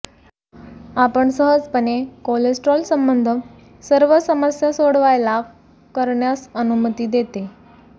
आपण सहजपणे कोलेस्ट्रॉल संबद्ध सर्व समस्या सोडवायला करण्यास अनुमती देते